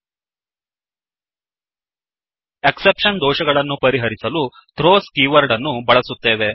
exception exception ದೋಷ ಗಳನ್ನು ಪರಿಹರಿಸಲು ಥ್ರೋಸ್ ಥ್ರೋಸ್ ಕೀವರ್ಡ್ ಅನ್ನು ಬಳಸುತ್ತೇವೆ